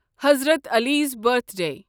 حضرت عالیٖز برتھڈے